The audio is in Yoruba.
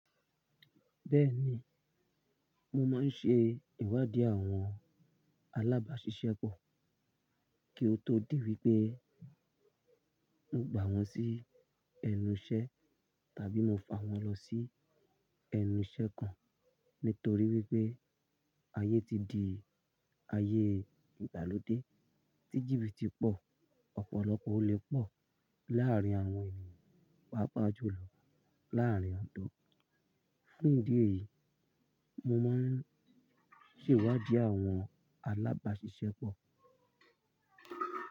Bẹ́ẹ̀ni, mo máa ń ṣe ìwádìí àwọn alábàáṣiṣẹ́ pọ̀ kí ó tó di wípé mo gbà wọ́n sí ẹnu iṣẹ́ tàbí mo fa wọ́n lọ sí ẹnu iṣẹ́ kan. Nítorí wípé ayé ti di ayé ìgbàlódé, tíjíbì ti pọ̀, ọ̀pọ̀lọpọ̀ olè pọ̀ láàárín àwọn ènìyàn, pàápàá jù lọ láàárín àwọn ọ̀dọ́. Fún ìdí èyí, mo máa ń ṣe ìwádìí àwọn alábáṣiṣẹ́ pọ̀.